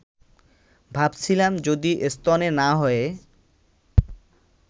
ভাবছিলাম, যদি স্তনে না হয়ে